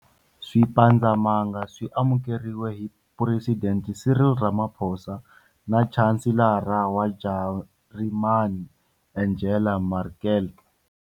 Swipandzamananga swi amukeriwile hi Phuresidente Cyril Ramaphosa na Chanselara wa Jarimani, Angela Merkel.